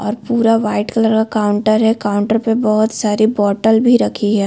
और पूरा white colour का काउंटर है। काउंटर पे बहोत सारी बोटल भी रखी है।